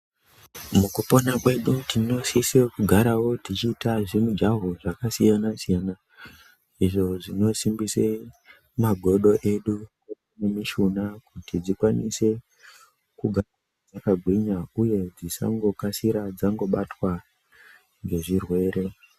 Mukupona kwedu tinosise kugarawo techiite zvimujaho zvakasiyana siyana izvo zvinosimbise magodo edu nemishuna kuti dzikwanise kugara dzakagwinya uye dzisangokasira dzangobatwa ngezvirwere.